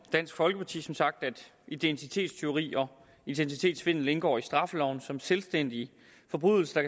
dansk folkeparti som sagt at identitetstyveri og identitetssvindel indgår i straffeloven som selvstændige forbrydelser